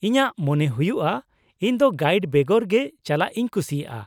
-ᱤᱧᱟᱹᱜ ᱢᱚᱱᱮ ᱦᱩᱭᱩᱜᱼᱟ ᱤᱧ ᱫᱚ ᱜᱟᱭᱤᱰ ᱵᱮᱜᱚᱨ ᱜᱮ ᱪᱟᱞᱟᱜ ᱤᱧ ᱠᱩᱥᱤᱭᱟᱜᱼᱟ ᱾